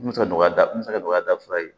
N bɛ se ka nɔgɔya n bɛ se ka dɔgɔya da fɔlɔ ye